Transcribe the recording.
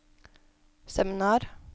seminar